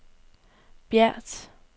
Bjert